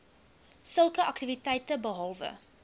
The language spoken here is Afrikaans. sulke aktiwiteite behalwe